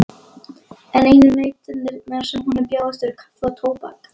En einu nautnirnar sem honum bjóðast eru kaffi og tóbak.